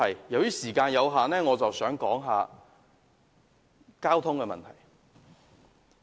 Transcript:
由於時間有限，我要談一談交通問題。